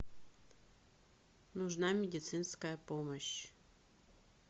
нужна медицинская помощь